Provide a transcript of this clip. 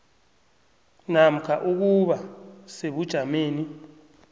namkha ukuba sebujameni